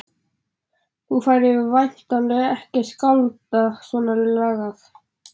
Þú færir væntanlega ekki að skálda svona lagað?